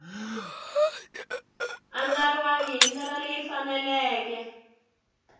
andlariwangi hi ndlela leyi faneleke